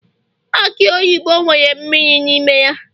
aki oyibo nwere mmiri n'ime ya